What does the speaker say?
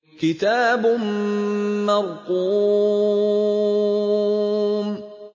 كِتَابٌ مَّرْقُومٌ